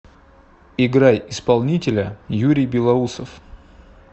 играй исполнителя юрий белоусов